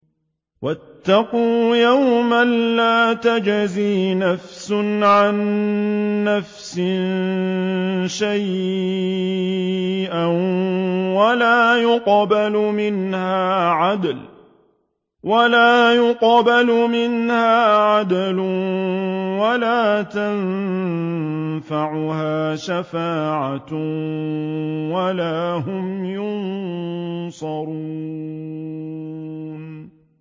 وَاتَّقُوا يَوْمًا لَّا تَجْزِي نَفْسٌ عَن نَّفْسٍ شَيْئًا وَلَا يُقْبَلُ مِنْهَا عَدْلٌ وَلَا تَنفَعُهَا شَفَاعَةٌ وَلَا هُمْ يُنصَرُونَ